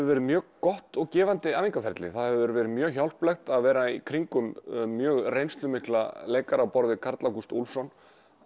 verið mjög gott og gefandi það hefur verið mjög hjálplegt að vera í kringum mjög reynslumikla leikara á borð við Karl Ágúst Úlfsson